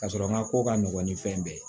Ka sɔrɔ n ka ko ka nɔgɔ ni fɛn bɛɛ ye